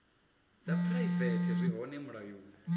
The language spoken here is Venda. dza phuraivete zwi hone mulayoni